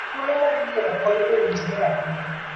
Thuolo mar yiero kony owinjore ahinya